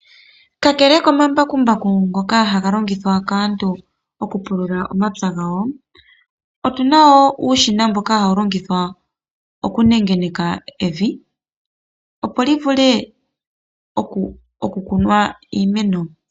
Kakele komambakumbaku ngoka haga longithwa kaantu okupulula omapya gawo otuna nuushina mboka hawu longithwa okunengeneka evi opo li vule okukunwa iimeno.